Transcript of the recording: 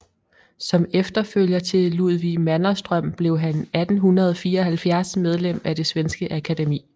Som efterfølger til Ludvig Manderström blev han 1874 medlem af det svenske Akademi